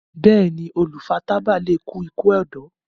béèni olu fà tábà lẹ kú iku ọdọ.